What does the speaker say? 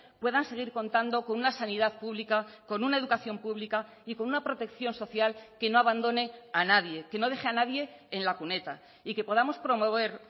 puedan seguir contando con una sanidad pública con una educación pública y con una protección social que no abandone a nadie que no deje a nadie en la cuneta y que podamos promover